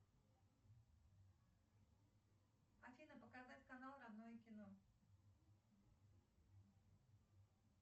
афина показать канал родное кино